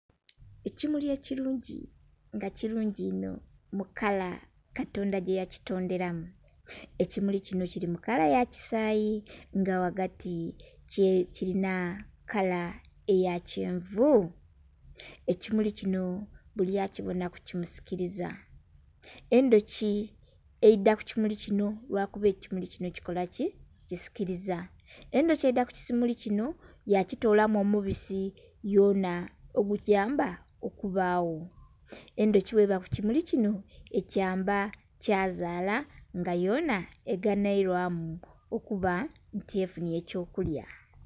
Ekimuli ekirungi nga kirungi inho mu kala katonda gyeyakitonderamu. Ekimuli kinho kili mu kala ya kisayi nga wagati kilina kala eya kyenvu. Ekimuli kino buli akibonaku kimusikiliza. Endhoki eidha ku kimuli kinho lwakuba ekimuli kinho, kikola kki?! Kisikiliza. Endhoki eidha ku kimuli kinho yakitolamu omubisi yona ogugiyamba okubagho, endhoki bweba ku kimuli kinho ekiyamba kyazaala nga yona eganhwilwamu okuba nti efunye eky'okulya